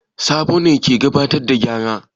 Sabo ne ke gabatar da ƙara.